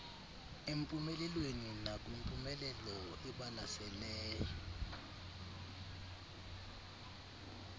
empumelelweni nakwimpumelelo ebalaseley